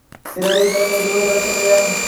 Beeralayda waa in ay la shaqeeyaan dawladda.